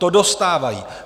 To dostávají.